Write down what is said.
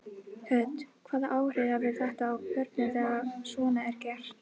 Hödd: Hvaða áhrif hefur þetta á börnin þegar svona er gert?